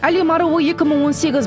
әлем аруы екі мың он сегіз